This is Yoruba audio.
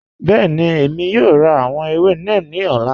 Bẹẹni, Èmi yóò rá àwọn èwè neem ni ọ̀lá